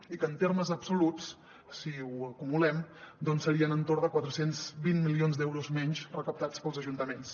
i que en termes absoluts si ho acumulem doncs serien entorn de quatre cents i vint milions d’euros menys recaptats pels ajuntaments